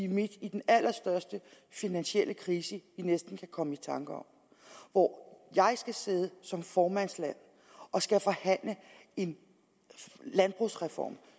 midt i den allerstørste finansielle krise jeg næsten kan komme i tanker om hvor jeg skal sidde som formandskabet og skal forhandle en landbrugsreform